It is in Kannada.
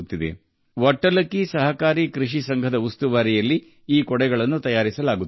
ಈ ಛತ್ರಿಗಳನ್ನು 'ವಟ್ಟಲಕ್ಕಿ ಸಹಕಾರಿ ಫಾರ್ಮಿಂಗ್ ಸೊಸೈಟಿ' ಮೇಲ್ವಿಚಾರಣೆಯಲ್ಲಿ ತಯಾರಿಸಲಾಗುತ್ತದೆ